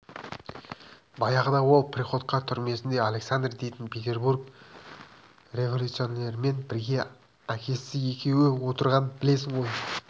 баяғыда ол приходько түрмесінде александр дейтін петербург революционерімен бірге әкесі екеуі отырғанын білесің ғой